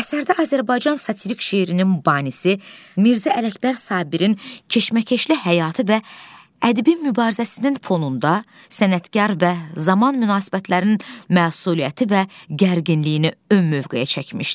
Əsərdə Azərbaycan satirikk şeirinin banisi Mirzə Ələkbər Sabirin keşməkeşli həyatı və ədəbi mübarizəsinin fonunda sənətkar və zaman münasibətlərinin məsuliyyəti və gərginliyini ümumi mövqeyə çəkmişdi.